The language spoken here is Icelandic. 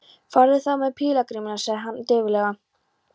Farðu þá með pílagrímunum sagði hann dauflega.